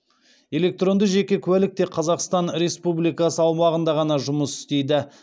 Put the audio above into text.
электронды жеке куәлік тек қазақстан республикасы аумағында ғана жұмыс істейді